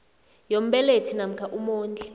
yombelethi namkha umondli